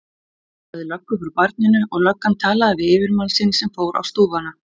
Hann sagði löggu frá barninu og löggan talaði við yfirmann sinn sem fór á stúfana.